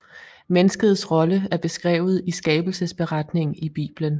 Menneskets rolle er beskrevet i Skabelsesberetningen i Bibelen